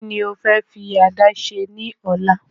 Ki ni o fẹ́ fi àdá se ní ọ̀la?